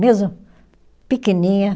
Mesmo pequeninha.